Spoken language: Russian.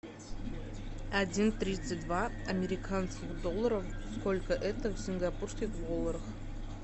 один тридцать два американских долларов сколько это в сингапурских долларах